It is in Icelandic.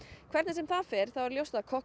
hvernig sem fer þá er ljóst að